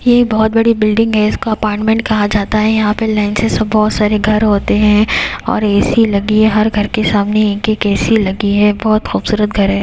ये बहुत बड़ी बिल्डिंग है इसको अपार्टमेंट कहा जाता है यहां पे लेंसेस और बहुत सारे घर होते हैं और ऐ_सी लगी है हर घर के सामने एक-एक ऐ_सी लगी है बहुत खूबसूरत घर है।